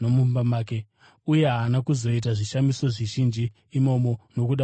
Uye haana kuzoita zvishamiso zvizhinji imomo nokuda kwokusatenda kwavo.